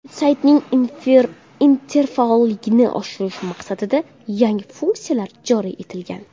Saytning interfaolligini oshirish maqsadida yangi funksiyalar joriy etilgan.